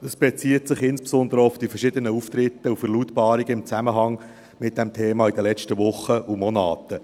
Das bezieht sich insbesondere auch auf die verschiedenen Auftritte und Verlautbarungen in Zusammenhang mit diesem Thema in den letzten Wochen und Monaten.